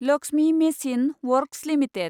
Lakshmi machine works limited